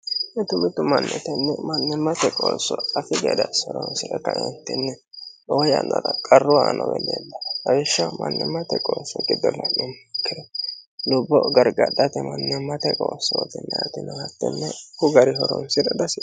mitu mitu manni tenni mannimmate qoosso afi gede ase horonsire kaaeentinni lowo yannara qarru aano uwe leleellano awishshaho mannimmate qoosso giddo lanumoro lubbo gargadhate mannimmate qoosso yinaayiti noota hattene ko gari horoonsi'ra dihasiisano